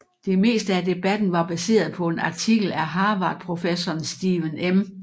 Det meste af debatten var baseret på en artikel af Harvard professoren Stephen M